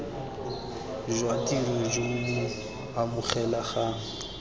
jwa tiro jo bo amogelegang